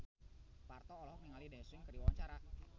Parto olohok ningali Daesung keur diwawancara